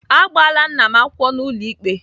Agbaala nna m akwụkwọ n'ụlọ ikpe.